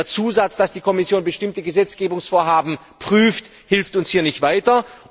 Der Zusatz, dass die Kommission bestimmte Gesetzgebungsvorhaben prüft, hilft uns hier nicht weiter.